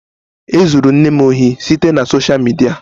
E zuru nne m ohi site na sosha midia.